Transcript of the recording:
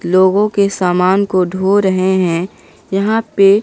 लोगों के समान को ढो रहे हैं यहां पे--